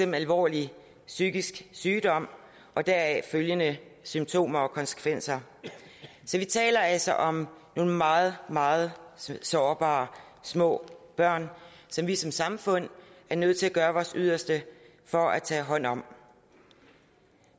en alvorlig psykisk sygdom og deraf følgende symptomer og konsekvenser så vi taler altså om nogle meget meget sårbare små børn som vi som samfund er nødt til at gøre vores yderste for at tage hånd om